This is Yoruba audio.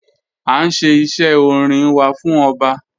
A nṣẹ̀ ìṣẹ̀ ọ̀rìn wà fún ọbá.